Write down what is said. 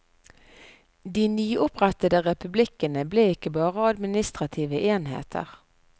De nyopprettede republikkene ble ikke bare administrative enheter.